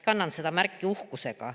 Kannan seda märki uhkusega.